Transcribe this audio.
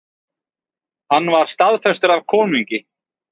Hann var staðfestur af konungi.